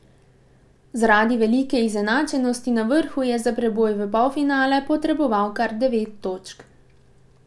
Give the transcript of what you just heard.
Zaradi velike izenačenosti na vrhu je za preboj v polfinale potreboval kar devet točk.